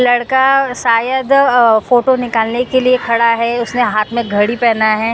लड़का सायद अ फोटो निकालने के लिए खड़ा है उसने हाथ में घड़ी पहना है।